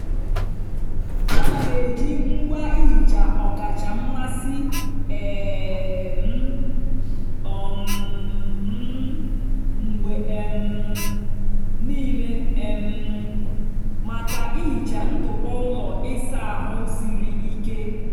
ana m eji ngwa ihicha ọkacha mmasị um m um m mgbe um niile um maka ihicha ntụpọ ụlọ ịsa ahụ siri ike.